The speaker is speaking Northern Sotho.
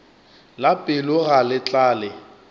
la pelo ga le tlale